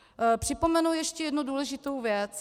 Připomenu ještě jednu důležitou věc.